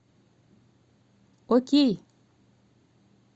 окей